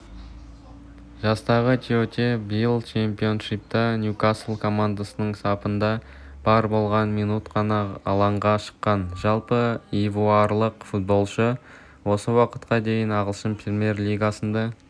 жастағы тиоте биыл чемпионшипта ньюкасл командасының сапында бар болғаны минут қана алаңға шыққан жалпы ивуарлық футболшы осы уақытқа дейін ағылшын-премьер лигасынла